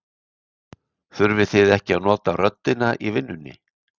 Þurfið þið ekki að nota röddina í vinnu?